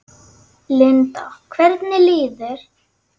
Linda: Hvernig líður þér?